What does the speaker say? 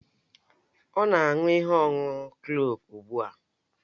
Ọ na-aṅụ ihe ọṅụṅụ kloovu ugbu a